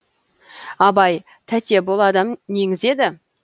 абай тәте бұл адам неңіз еді